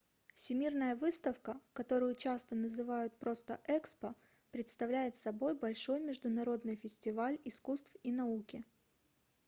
всемирная выставка которую часто называют просто экспо представляет собой большой международный фестиваль искусств и науки